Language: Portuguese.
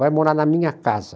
Vai morar na minha casa.